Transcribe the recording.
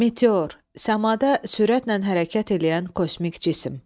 Meteor – səmada sürətlə hərəkət eləyən kosmik cisim.